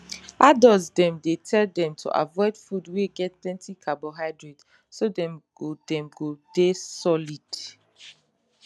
adult dem dey tell them to avoid food wey get plenty carbohydrate so dem go dem go dey solid